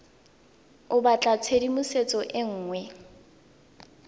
o batla tshedimosetso e nngwe